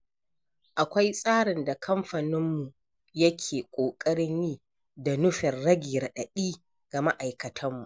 Akwai tsarin da kamfaninmu yake ƙoƙarin yi da nufin rage raɗaɗi ga ma'aikatanmu.